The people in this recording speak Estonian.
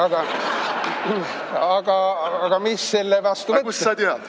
Aga kust sa tead?